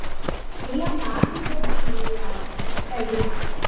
ಇಲ್ಲಾ ಮಾಡ್ತಿದ್ದೆ but ನನಗೆ ಯಾ~ ಇಷ್ಟ ಇಲ್ಲಾ.